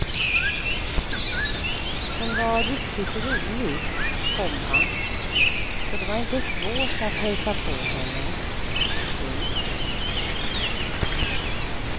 Hon var riktigt rolig, komma så det var inte svårt att hälsa på henne. punkt